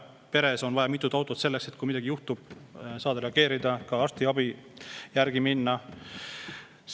Peres on vaja ka mitut autot, sest kui midagi juhtub, saad reageerida, ka arstiabi saama minna.